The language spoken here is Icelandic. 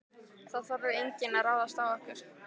Það þorði enginn að ráðast á okkur.